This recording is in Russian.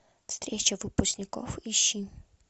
встреча выпускников ищи